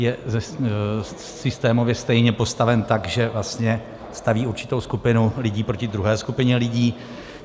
Je systémově stejně postaven tak, že vlastně staví určitou skupinu lidí proti druhé skupině lidí.